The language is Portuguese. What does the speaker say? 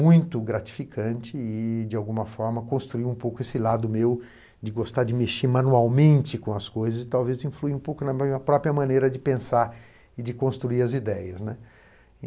muito gratificante e, de alguma forma, construiu um pouco esse lado meu de gostar de mexer manualmente com as coisas e talvez influir um pouco na minha própria maneira de pensar e de construir as ideias, né?